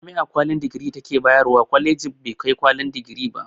Jami'a kwalin digiri ta ke ba yarwa kwaleji kwalin da bai kai digiri ba